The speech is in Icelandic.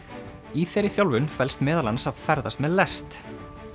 í þeirri þjálfun felst meðal annars að ferðast með lest